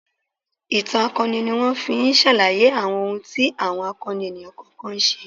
Ìtàn akọni ni wọ́n fi ń ṣàlàyé àwọn ohun tí àwọn akọni ènìyàn kọ̀ọ̀kan ṣe.